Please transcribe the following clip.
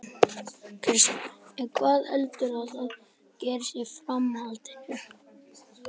Kristján: En hvað heldurðu að gerist í framhaldinu?